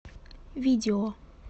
видео